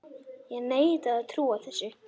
Ég neita að trúa þessu!